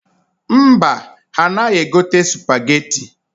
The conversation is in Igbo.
Mba, ha anaghị egote sụpageti.